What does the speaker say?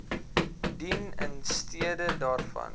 dien instede daarvan